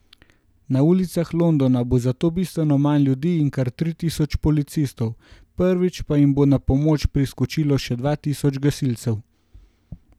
Na ulicah Londona bo zato bistveno manj ljudi in kar tri tisoč policistov, prvič pa jim bo na pomoč priskočilo še dva tisoč gasilcev.